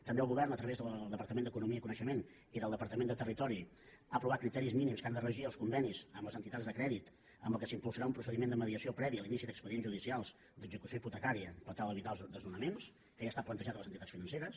també el govern a través del departament d’economia i coneixement i del departament de territori ha aprovat criteris mínims que han de regir els convenis amb les entitats de crèdit amb què s’impulsarà un procediment de mediació previ a l’inici d’expedients judicials d’execució hipotecària per tal d’evitar els desnonaments que ja ha estat plantejat a les entitats financeres